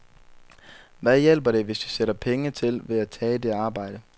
Hvad hjælper det, hvis vi sætter penge til ved at tage det arbejde?